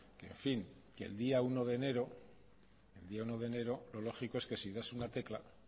en fin el día uno de enero lo lógico es que si das a una tecla